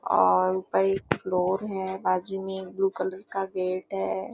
और उपर एक फ्लोर है। बाजू में एक ब्लू कलर का गेट है।